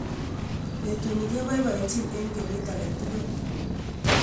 Petuni kepoipoenchin en kenyit agetugul